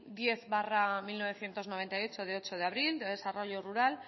diez barra mil novecientos noventa y ocho de ocho de abril de desarrollo rural